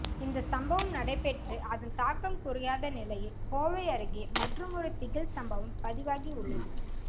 இந்த சம்பவம் நடைபெற்று அதன்தாக்கம் குறையாத நிலையில் கோவை அருகே மற்றுமொரு திகில் சம்பவம் பதிவாகி உள்ளது